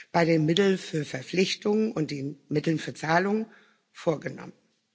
bei den Mitteln für Verpflichtungen und den Mitteln für Zahlungen vorgenommen.